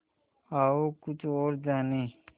आओ कुछ और जानें